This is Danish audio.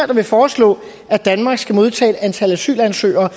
der vil foreslå at danmark skal modtage et antal asylansøgere